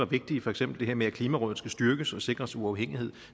vigtige for eksempel det her med at klimarådet skal styrkes og sikres uafhængighed